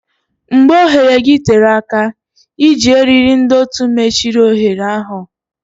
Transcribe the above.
Mgbe oghere gị tere aka, iji eriri ndọtị mechiri oghere ahụ.